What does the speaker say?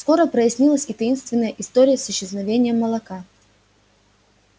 скоро прояснилась и таинственная история с исчезновением молока